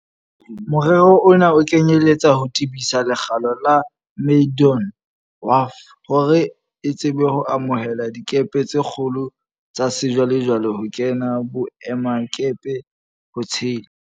Morero ona o kenyeletsa ho tebisa lekgalo la Maydon Wharf hore e tsebe ho amohela dikepe tse kgolo tsa sejwale-jwale ho kena boemakepe, ho tshela